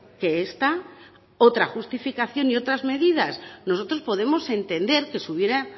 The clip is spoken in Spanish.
que esta otra justificación y otras medidas nosotros podemos entender que se hubiera